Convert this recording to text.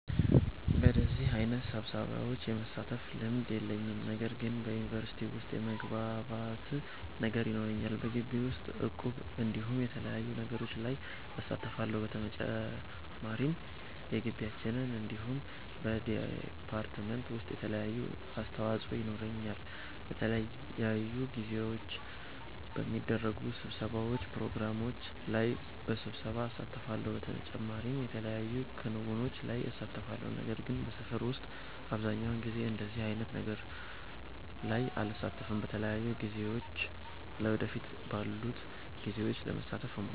በደዚህ አይነት ስብሰሻዎች የመሳተፍ ልምድ የለኝም። ነገር ግን በዩኒቨርሲቲ ዉስጥ የመግባባት ነገር ይኖረናል። በጊቢ ዉስጥ እቁብ እንዲሁም የተለያዩ ነገሮች ላይ እሳተፋለሁ። በተጨማሪም በጊቢያችን እንዲሁም በ ዲፓርትመንት ዉሰጥ የተለያየ አስተዋፆ የኖረኛል። በተለያዩ ጊዜዎች በሚደረጉ ስብሰባዎች ፕሮግራሞች ላይ በብሳት እሳተፋለሁ። በተጨማሪም የተለያዩ ክንዉኖች ላይ እሳተፋለሁ። ነገር ግን በሰፈር ዉስጥ አብዘሃኛዉ ጊዜ እንደዚህ አይነት ነገሮች ላይ አልሳተፍም። በተለያዩ ጊዜያቶች ለ ወደፊት ባሉት ጊዜዎች ለመሳተፍ እሞክራለሁ